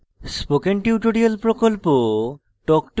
spoken tutorial প্রকল্প talk to a teacher প্রকল্পের অংশবিশেষ